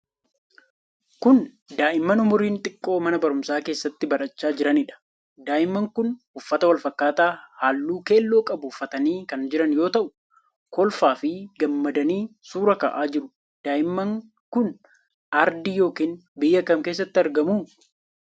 kun, daa'imman umuriin xiqqoo mana baruumsaa keessatti barachaa jiraniidha. Daa'imman kun, uffata wal fakkaataa haalluu keelloo qabu uffatanii kan jiran yoo ta'u, kolfaa fi gammadanii suura ka'aa jiru. Daa'imman kun aardii yokin biyya kam keessatti argamu?